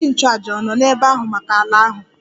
Onyeisi nchụàjà ọ̀ nọ n'ebe ahụ maka ala ahụ?